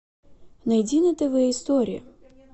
найди на тв историю